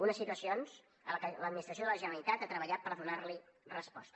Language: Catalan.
unes situacions a què l’administració de la generalitat ha treballat per donar hi resposta